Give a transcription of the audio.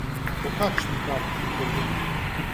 O kakšni karti govori?